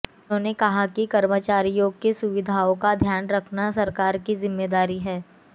उन्होंने कहा कि कर्मचारियों की सुविधाओं का ध्यान रखना सरकार की जिम्मेदारी है